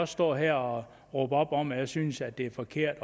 stå her og råbe op om at jeg synes at det er forkert